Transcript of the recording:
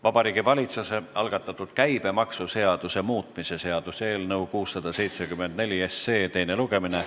Vabariigi Valitsuse algatatud käibemaksuseaduse muutmise seaduse eelnõu 674 teine lugemine.